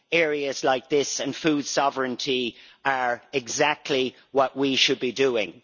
Areas like this and food sovereignty are exactly what we should be doing.